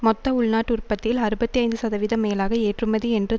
மொத்த உள்நாட்டு உற்பத்தியில் அறுபத்தி ஐந்து சதவித மேலாக ஏற்றுமதி என்று